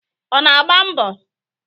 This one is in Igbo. Ọ na-agba mbọ?